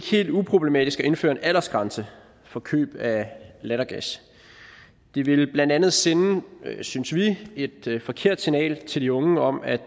helt uproblematisk at indføre en aldersgrænse for køb af lattergas det ville blandt andet sende synes vi et forkert signal til de unge om at